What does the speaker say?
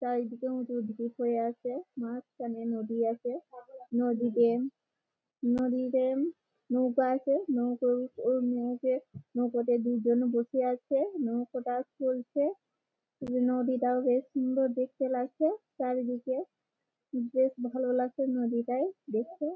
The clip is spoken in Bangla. চারিদিকে উঁচু ঢিপ হয়ে আছে মাঝখানে নদী আছে । নদীতে নদীতে নৌকা আছে নৌকো-ও এই নৌকে নৌকতে দুজন বসে আছে নৌকোটা চলছে নদীটাও বেশ সুন্দর দেখতে লাগছেচারিদিকে বেশ ভালো লাগছে নদীটায় দেখে ।